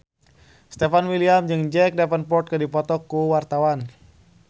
Stefan William jeung Jack Davenport keur dipoto ku wartawan